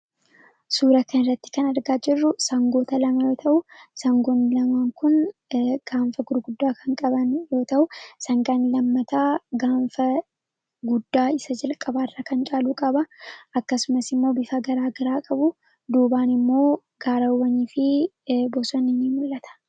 suura kan irratti kan argaa jirru sangoota lama yoo ta'u sangoon lamaan kun gaanfa gurguddaa kan qaban yoo ta'u sangan lammataa gaanfa guddaa isa jalqabaarra kan caaluu qaba akkasumas immoo bifa garaagaraa qabu duubaan immoo gaarawanii fi bosonnin mul'ata